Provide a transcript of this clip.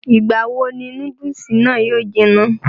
ìgbà wo ni núdùsì náà yóò jiná?